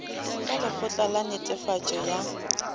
ka lekgotla la netefatšo ya